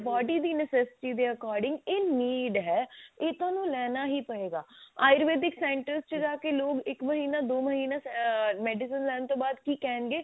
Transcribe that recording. body ਦੀ necessity ਦੇ according ਇਹ need ਹੈ ਇਹ ਤੁਹਾਨੂੰ ਲੈਣਾ ਹੀ ਪਵੇਗਾ ayurvedic center ਚ ਜਾ ਕੇ ਲੋਕ ਇੱਕ ਮਹੀਨਾ ਦੋ ਮਹੀਨਾ ah medicine ਲੈਣ ਤੋਂ ਬਾਅਦ ਕੀ ਕਹਿਣਗੇ